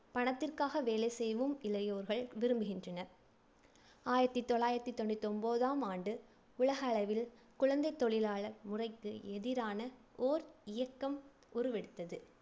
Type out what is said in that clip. பணத்திற்காக வேலை செய்யவும் இளையோர்கள் விரும்புகின்றனர் ஆயிரத்தி தொள்ளாயிரத்தி தொண்ணூத்தி ஒன்பதாம் ஆண்டு உலகளவில் குழந்தைத் தொழிலாளர் முறைக்கு எதிரான ஓர் இயக்கம் உருவெடுத்தது.